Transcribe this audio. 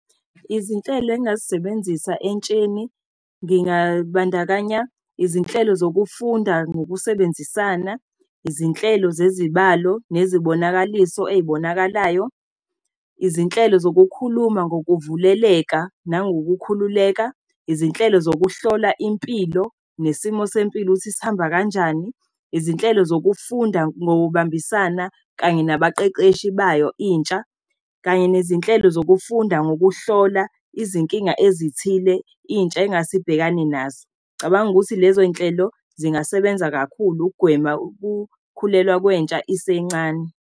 Izinhlelo engazisebenzisa entsheni, ngingabandakanya izinhlelo zokufunda ngokusebenzisana. Izinhlelo zezibalo nezibonakaliso ey'bonakalayo. Izinhlelo zokukhuluma ngokuvuleleka nangokukhululeka. Izinhlelo zokuhlola impilo nesimo sempilo, ukuthi sihamba kanjani. Izinhlelo zokufunda ngokubambisana kanye nabaqeqeshi bayo, intsha. Kanye nezinhlelo zokufunda ngokuhlola izinkinga ezithile intsha ingase ibhekane nazo. Ngicabanga ukuthi lezoy'nhlelo zingasebenza kakhulu ukugwema ukukhulelwa kwentsha isencane.